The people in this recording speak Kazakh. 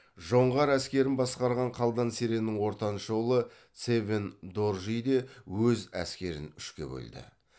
жоңғар әскерін басқарған қалдан сереннің ортаншы ұлы цевен доржи де өз әскерін үшке бөлді